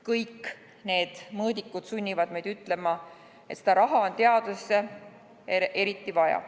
Kõik need mõõdikud sunnivad meid ütlema, et seda raha on teadusesse eriti vaja.